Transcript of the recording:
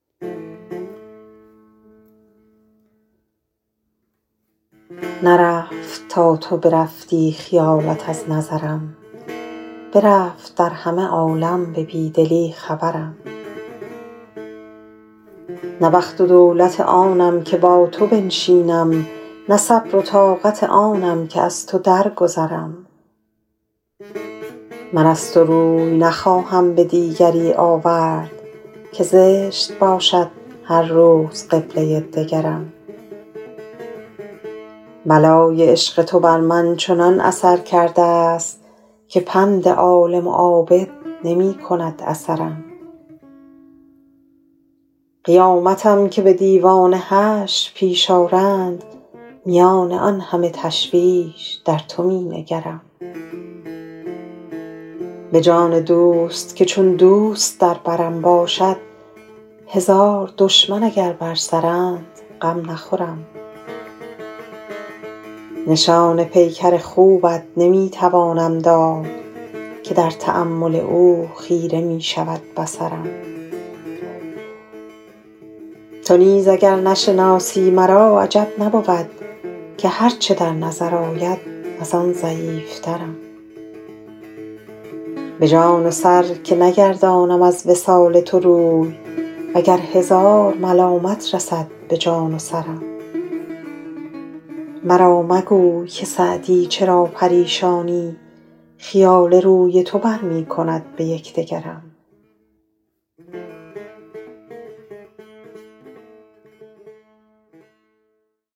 نرفت تا تو برفتی خیالت از نظرم برفت در همه عالم به بی دلی خبرم نه بخت و دولت آنم که با تو بنشینم نه صبر و طاقت آنم که از تو درگذرم من از تو روی نخواهم به دیگری آورد که زشت باشد هر روز قبله دگرم بلای عشق تو بر من چنان اثر کرده ست که پند عالم و عابد نمی کند اثرم قیامتم که به دیوان حشر پیش آرند میان آن همه تشویش در تو می نگرم به جان دوست که چون دوست در برم باشد هزار دشمن اگر بر سرند غم نخورم نشان پیکر خوبت نمی توانم داد که در تأمل او خیره می شود بصرم تو نیز اگر نشناسی مرا عجب نبود که هر چه در نظر آید از آن ضعیفترم به جان و سر که نگردانم از وصال تو روی و گر هزار ملامت رسد به جان و سرم مرا مگوی که سعدی چرا پریشانی خیال روی تو بر می کند به یک دگرم